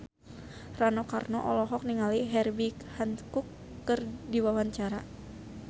Rano Karno olohok ningali Herbie Hancock keur diwawancara